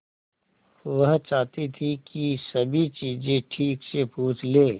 वह चाहती थी कि सभी चीजें ठीक से पूछ ले